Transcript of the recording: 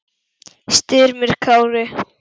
Styrmir Kári.